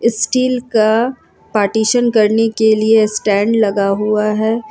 Steel का partition करने के लिए स्टैंड लगा हुआ हैं।